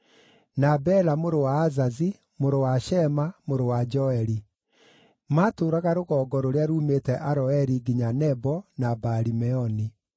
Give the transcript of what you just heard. na Bela mũrũ wa Azazi, mũrũ wa Shema, mũrũ wa Joeli. Maatũũraga rũgongo rũrĩa ruumĩte Aroeri nginya Nebo na Baali-Meoni.